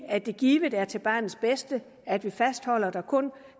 at det givet er til barnets bedste at vi fastholder at der kun